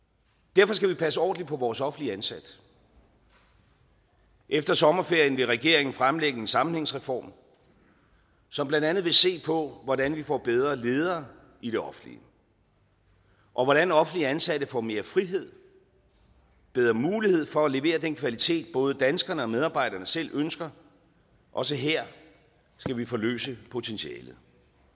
derfor skal vi passe ordentligt på vores offentligt ansatte efter sommerferien vil regeringen fremlægge en sammenhængsreform som blandt andet vil se på hvordan vi får bedre ledere i det offentlige og hvordan offentligt ansatte får mere frihed og bedre mulighed for at levere den kvalitet både danskerne og medarbejderne selv ønsker også her skal vi forløse potentialet